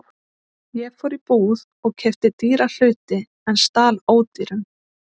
Ég fór í búð og keypti dýra hluti en stal ódýrum.